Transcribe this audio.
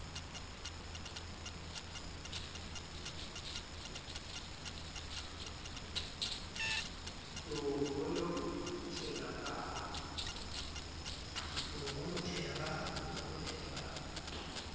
ke o honothele ka ha